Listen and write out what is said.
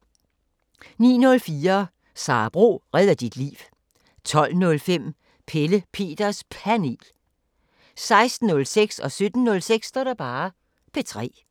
09:04: Sara Bro redder dit liv 12:05: Pelle Peters Panel 16:06: P3 17:06: P3